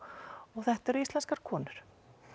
þetta eru íslenskar konur